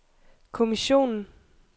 kommissionen